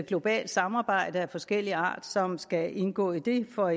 globalt samarbejde af forskellig art som skal indgå i det for